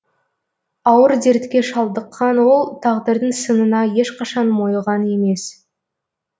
ауыр дертке шалдыққан ол тағдырдың сынына ешқашан мойыған емес